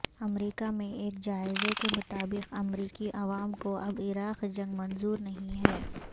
امریکہ میں ایک جائزے کے مطابق امریکی عوام کو اب عراق جنگ منظور نہیں ہے